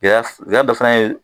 Gɛlɛya dɔ fana ye